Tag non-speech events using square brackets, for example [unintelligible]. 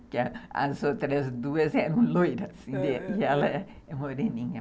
Porque as outras duas eram loiras, [unintelligible] e ela é moreninha.